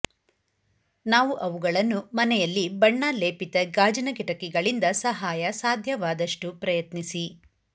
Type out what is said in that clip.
ನಾವು ಅವುಗಳನ್ನು ಮನೆಯಲ್ಲಿ ಬಣ್ಣ ಲೇಪಿತ ಗಾಜಿನ ಕಿಟಕಿಗಳಿಂದ ಸಹಾಯ ಸಾಧ್ಯವಾದಷ್ಟು ಪ್ರಯತ್ನಿಸಿ